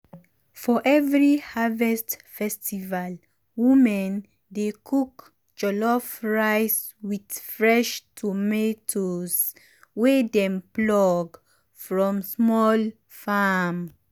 for every harvest festival women dey cook jollof rice with fresh tomatoes wey dem plug from small farm.